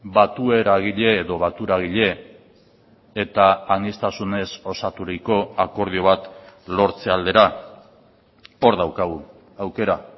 batueragile edo baturagile eta aniztasunez osaturiko akordio bat lortze aldera hor daukagu aukera